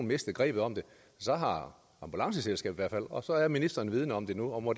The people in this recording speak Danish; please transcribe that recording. mistet grebet om det så har ambulanceselskabet i fald og så er ministeren vidende om det nu og må